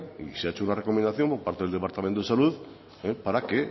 y se ha hecho una recomendación por parte del departamento de salud para que